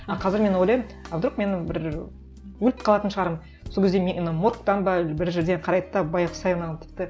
а қазір мен ойлаймын а вдруг мен бір өліп қалатын шығармын сол кезде мені моргтан ба бір жерде қарайды да байғұс ай мынау тіпті